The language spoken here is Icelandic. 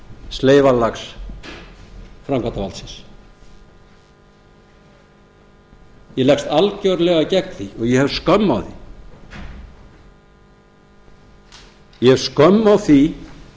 sleifarlags framkvæmdarvaldsins ég leggst algerlega gegn því og ég hef skömm á því ég hef skömm á því